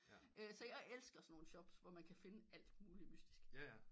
Så jeg elsker sådan nogel shops hvor man kan finde alt muligt mystisk